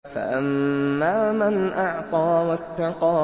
فَأَمَّا مَنْ أَعْطَىٰ وَاتَّقَىٰ